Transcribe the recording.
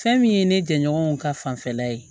Fɛn min ye ne jɛɲɔgɔnw ka fanfɛla ye